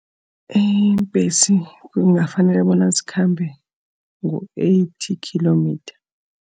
Iimbhesi kungafanele bona zikhambe ngo-eighty kilometer.